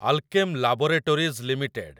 Alkem Laboratories limited